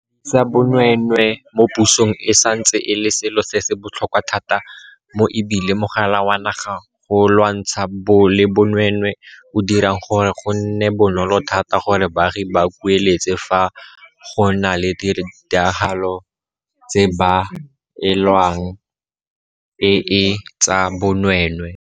Go fedisa bonweenwee mo pusong e santse e le selo se se botlhokwa thata mo e bile Mogala wa Naga wa go Lwantshana le Bonweenwee o dirang gore go nne bonolo thata gore baagi ba kueletse fa go na le ditiragalo tse ba belaelang e e tsa bonweenwee.